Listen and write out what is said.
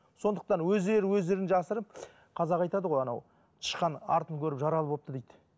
сондықтан өздері өздерін жасырып қазақ айтады ғой анау тышқан артын көріп жаралы болыпты дейді